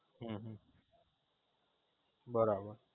હમ બરાબર